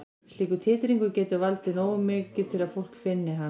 Slíkur titringur getur verið nógu mikill til að fólk finni hann.